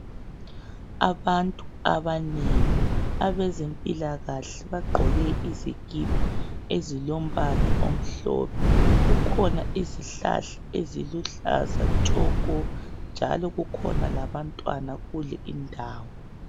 Abantu abanengi abezempilakahle bagqoke izikipa ezilombala omhlophe. Kukhona izihlahla eziluhlaza tshoko njalo kukhona labantwana kule indawo.